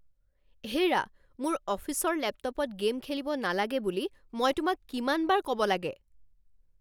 হেৰা, মোৰ অফিচৰ লেপটপত গে'ম খেলিব নালাগে বুলি মই তোমাক কিমানবাৰ ক'ব লাগে?